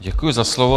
Děkuji za slovo.